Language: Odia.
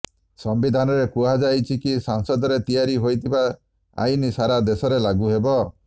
ସମ୍ବିଧାନରେ କୁହାଯାଇଛି କି ସଂସଦରେ ତିଆରି ହୋଇଥିବା ଆଇନ୍ ସାରା ଦେଶରେ ଲାଗୁ ହେବ